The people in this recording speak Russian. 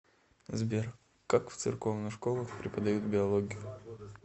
сбер как в церковных школах преподают биологию